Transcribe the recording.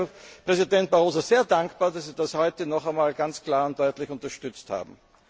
Ich bin Ihnen, Herr Präsident Barroso, sehr dankbar, dass Sie das heute noch einmal ganz klar und deutlich unterstützt haben.